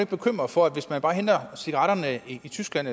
bekymret for at hvis man bare henter cigaretterne i tyskland